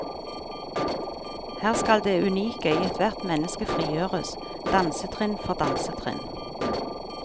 Her skal det unike i ethvert menneske frigjøres, dansetrinn for dansetrinn.